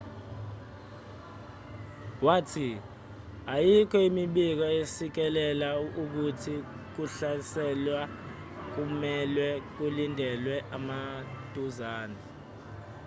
wathi ayikho imibiko esikisela ukuthi ukuhlaselwa kumelwe kulindelwe maduzane